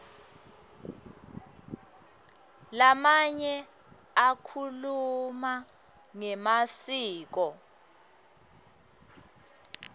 lamanye akhuluma ngemasiko